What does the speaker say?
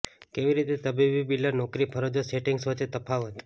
કેવી રીતે તબીબી બિલર નોકરી ફરજો સેટિંગ્સ વચ્ચે તફાવત